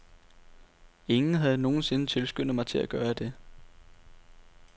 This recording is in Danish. Ingen havde nogensinde tilskyndet mig til at gøre det.